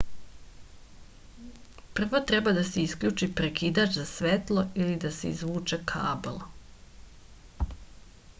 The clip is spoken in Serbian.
prvo treba da se isključi prekidač za svetlo ili da se izvuče kabl